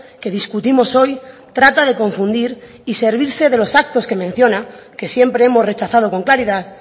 que discutimos hoy trata de confundir y servirse de los actos que menciona que siempre hemos rechazado con claridad